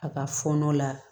A ka fɔɔnɔ la